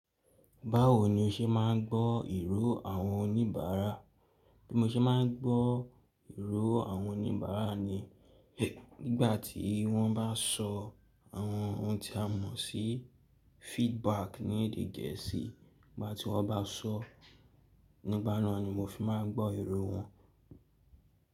Báwo ni o ṣe máa ń gbọ́ ìró àwọn oníbàárà? Bí mo ṣe máa ń gbọ́ ìró àwọn oníbàárà ni, nígbà tí wọ́n bá sọ àwọn ohun tí a mọ̀ sí feedback ní èdè Gẹ̀ẹ́sì, nígbà tí wọ́n bá sọ́, nígbà náà ni mo fi máa ń gbọ́ ìró wọn.